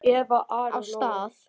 Af stað!